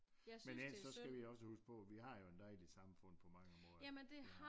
Men ellers skal vi også huske på vi har jo en dejlig samfund på mange måder